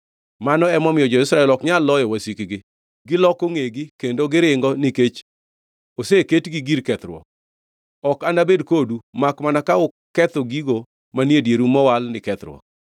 Mano emomiyo jo-Israel ok nyal loyo wasikgi; giloko ngʼegi kendo giringo nikech oseketgi gir kethruok. Ok anabed kodu makmana ka uketho gigo manie dieru mowal ni kethruok.